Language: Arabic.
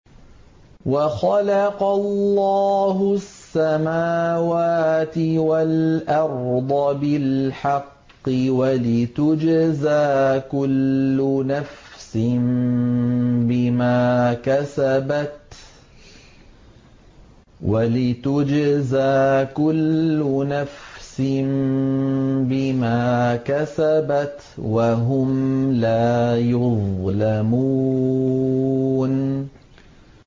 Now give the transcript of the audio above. وَخَلَقَ اللَّهُ السَّمَاوَاتِ وَالْأَرْضَ بِالْحَقِّ وَلِتُجْزَىٰ كُلُّ نَفْسٍ بِمَا كَسَبَتْ وَهُمْ لَا يُظْلَمُونَ